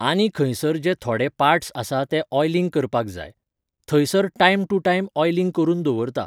आनी खंयसर जे थोडे पार्ट्स आसा ते ऑयलिंग करपाक जाय. थंयसर टायम टू टायम ऑयलिंग करून दवरता